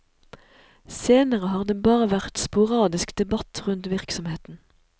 Senere har det bare vært sporadisk debatt rundt virksomheten.